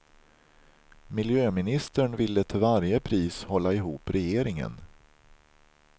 Miljöministern ville till varje pris hålla ihop regeringen.